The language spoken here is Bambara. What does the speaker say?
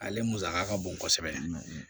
Ale musaka ka bon kosɛbɛ